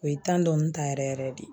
O ye tan dɔni ta yɛrɛ yɛrɛ de